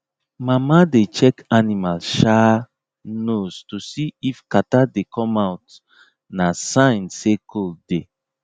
mama dey check animal um nose to see if kata dey come out na sign say cold dey